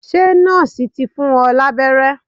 Ṣe nọ́ọ̀sì ti fún ọ lábẹ́rẹ́?